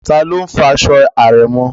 Taló n fọ aṣọ àrẹ̀mọ?